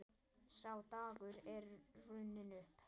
Sá dagur er runninn upp.